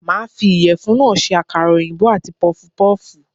Màá fi ìyèfun náà se àkàrà òyìnbó àti pufupúfù